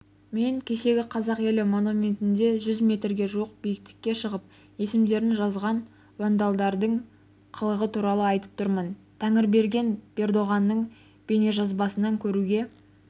мен кешегі қазақ елі монументінде жүз метрге жуық биіктікке шығып есімдерін жазған вандалдардың қылығы туралы айтып тұрмын тәңірберген бердоңғардың бейнежазбасынан көруге